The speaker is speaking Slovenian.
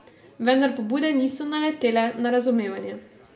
Vendar pobude niso naletele na razumevanje.